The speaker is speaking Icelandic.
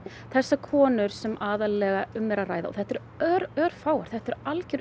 þessar konur sem aðallega um er að ræða og þetta eru örfáar þetta eru algjörar